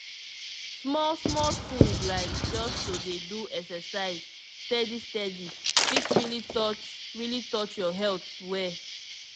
small small things like just to dey do exercise steady steady fit really touch really touch your health well.